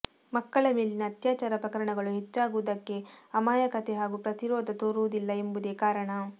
ಮಕ್ಕಳ ಮೇಲಿನ ಅತ್ಯಾಚಾರ ಪ್ರಕರಣಗಳು ಹೆಚ್ಚಾಗುವುದಕ್ಕೆ ಅಮಾಯಕತೆ ಹಾಗೂ ಪ್ರತಿರೋಧ ತೋರುವುದಿಲ್ಲ ಎಂಬುದೇ ಕಾರಣ